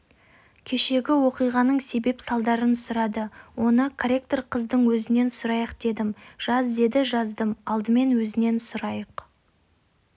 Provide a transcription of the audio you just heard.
кешегі оқиғаның себеп-салдарын сұрады оны корректор қыздың өзінен сұрайық дедім жаз деді жаздым алдымен өзінен сұрайық